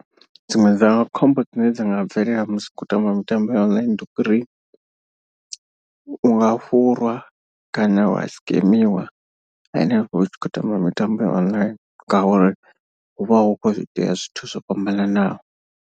Dziṅwe dza khombo dzine dza nga bvelela musi hu khou tamba mitambo ya online ndi uri. U nga fhurwa kana wa sikemiwa henefho hu tshi khou tamba mitambo ya online ngauri hu vha hu khou itea zwithu zwo fhambananaho.